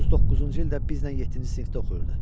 39-cu ildə bizlə yeddinci sinifdə oxuyurdu.